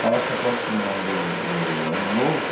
Estava se aproximando o Ano Novo.